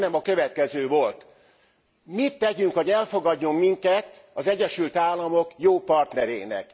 A hangnem a következő volt mit tegyünk, hogy elfogadjon minket az Egyesült Államok jó partnerének?